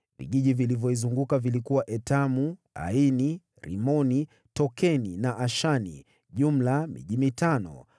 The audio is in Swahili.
Vijiji vilivyoizunguka vilikuwa Etamu, Aini, Rimoni, Tokeni na Ashani; jumla miji mitano: